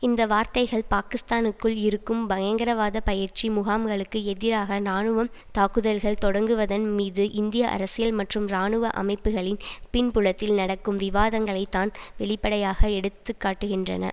இந்த வார்த்தைகள் பாகிஸ்தானுக்குள் இருக்கும் பயங்கரவாத பயிற்சி முகாம்களுக்கு எதிராக இனாணுவம் தாக்குதல்கள் தொடங்குவதன் மீது இந்திய அரசியல் மற்றும் இராணுவ அமைப்புகளின் பின்புலத்தில் நடக்கும் விவாதங்களைத் தான் வெளிப்படையாக எடுத்து காட்டுகின்றன